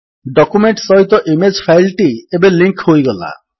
document ସହିତ image file ଟି ଏବେ ଲିଙ୍କ୍ ହୋଇଗଲା